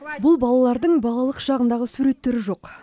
бұл балалардың балалық шағындағы суреттері жоқ